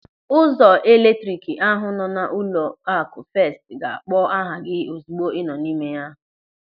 Ụzọ eletrik ahụ nọ n'ụlọaku Fest ga-akpọ aha gị ozigbo ị nọ n'ime ya.